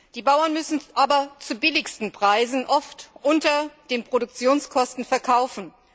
Die Bauern müssen aber zu billigsten Preisen oft unter den Produktionskosten verkaufen.